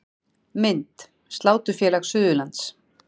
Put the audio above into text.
Mynd: Sláturfélag Suðurlands